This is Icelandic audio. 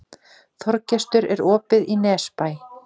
Þorgestur, er opið í Nesbæ?